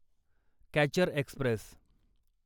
catcher Express